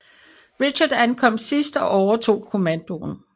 Richard ankom sidst og overtog kommandoen